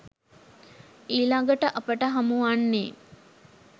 ඊළඟට අපට හමු වන්නේ